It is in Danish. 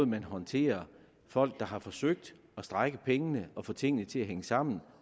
man håndterer folk der har forsøgt at strække pengene og få tingene til at hænge sammen